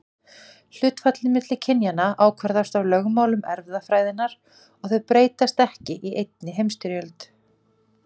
Hlutfallið milli kynjanna ákvarðast af lögmálum erfðafræðinnar og þau breytast ekki í einni heimstyrjöld.